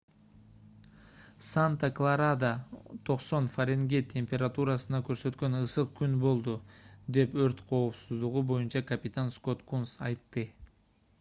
санта-кларада 90 фаренгейт температураны көрсөткөн ысык күн болду - деп өрт коопсуздугу боюнча капитан скотт кунс айтты